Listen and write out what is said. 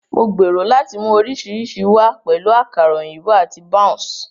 Mo gbèrò láti mú oríṣiríṣi wá, pẹ̀lú àkàrà òyìnbó àti bounce.